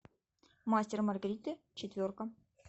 мастер и маргарита четверка